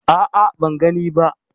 A'a, ban gani ba.